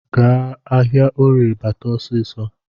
Gaa ahịaorie bata ọsịsọ